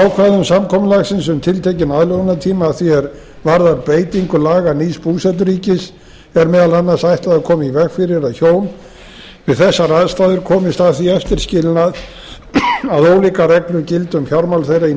ákvæðum samkomulagsins um tiltekinn aðlögunartíma að því er varðar beitingu laga nýs búseturíkis er meðal annars ætlað að koma í veg fyrir að hjón við þessar aðstæður komist að því eftir skilnað að ólíkar reglur gildi um fjármál þeirra í